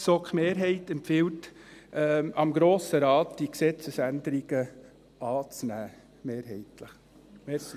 Die GSoK-Mehrheit empfiehlt dem Grossen Rat mehrheitlich, die Gesetzesänderungen anzunehmen.